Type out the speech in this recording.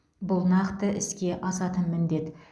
бұл нақты іске асатын міндет